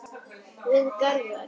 Við Garðar